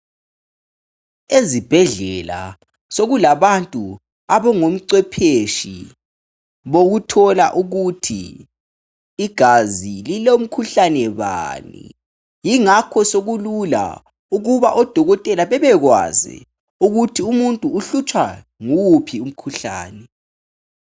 Ezibhedlela sokula bantu abangomcwephetshe wokuthola ukuthi igazi lilo mkhuhlane bani .Ingakho sokulula ukuba odokotela bebekwazi ukuthi umuntu uhlutshwa yiwuphi umkhuhlane.